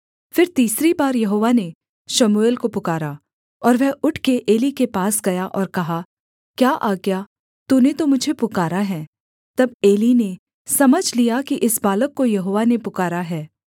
फिर तीसरी बार यहोवा ने शमूएल को पुकारा और वह उठकर एली के पास गया और कहा क्या आज्ञा तूने तो मुझे पुकारा है तब एली ने समझ लिया कि इस बालक को यहोवा ने पुकारा है